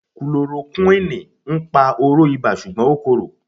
Kulorokúwìnì ń pa oró ibà ṣùgbọ́n ó korò.